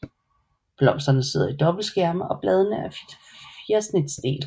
Blomsterne sidder i dobbeltskærme og bladene er fjersnitdelte